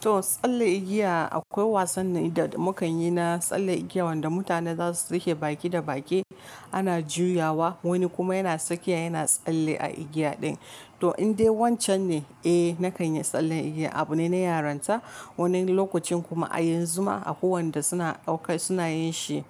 To tsalle igiya akwai wasanni da mukanyi na tsalle igiya wanda mutane zasu rike baki da baki ana juyawa wani kuma yana sake yana tsalle a igiya din. To in dai wancan ne eh nakan yi tsallen igiya abu ne na yaron ta. Wani lokacin kuma a yanzu ma akwai wanda suna auka suna yin shi